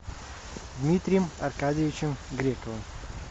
дмитрием аркадьевичем грековым